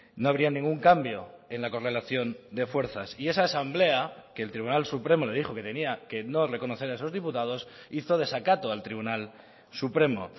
no habría ningún cambio en la correlación de fuerzas y esa asamblea que el tribunal supremo le dijo que tenía que no reconocer a esos diputados hizo desacato al tribunal supremo